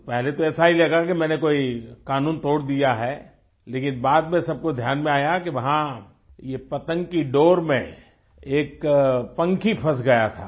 तो पहले तो ऐसा ही लगा कि मैं कोई कानून तोड़दिया है लेकिन बाद में सबको ध्यान में आया कि वहाँ ये पतंग की डोर में एक पंखी फंस गया था